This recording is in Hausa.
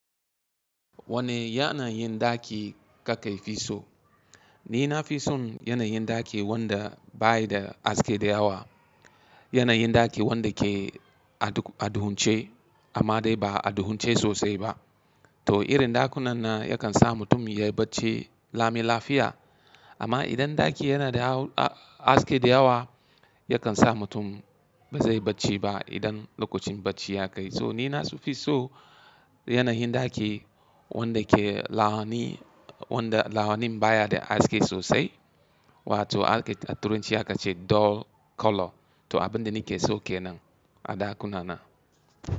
Wanne yanayin ɗaki kake fi so? Ni na fi son yanayin ɗaki wanda bayi da haske da yawa. Yanayin ɗaki wanda ke a duhunce amma dai ba a duhunce sosai ba. To irin ɗakunan nan yakan sa mutum ya yi bacci lami lafiya. Amma idan ɗaki yana da haske da yawa, yakan sa mutum ba zai yi bacci ba idan lokacin bacci ya kai. So ni na so, fi so yanayin ɗaki wanda ke lahani, wanda lahanin baya da haske sosai. Wato ake a tura aka ce dull color. To abin da nake so ke nan, a ɗakuna na.